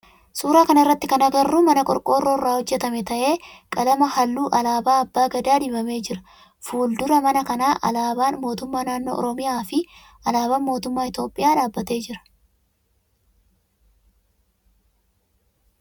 Suuraa kana irratti kan agarru mana qorqoorroo irraa hojjetame ta'ee qalama halluu alaabaa abbaa Gadaa dibamee jira. Fuldura mana kana alaabaan mootummaa naannoo oromiyaa fi alaabaan mootummaa Itiyoophiyaa dhaabbatee jira.